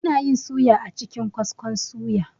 Anayin suya a cikin kaskon suya